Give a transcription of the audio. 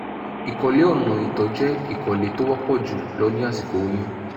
ìkọ̀lé ọ̀nà ìtọ̀ jẹ́ ìkọ̀lé tó wọ́pọ̀ jù lọ ní àsìkò oyún